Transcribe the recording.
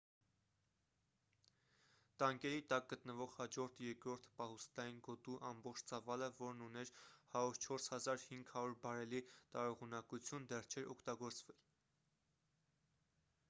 տանկերի տակ գտնվող հաջորդ երկրորդ պահուստային գոտու ամբողջ ծավալը որն ուներ 104,500 բարելի տարողունակություն դեռ չէր օգտագործվել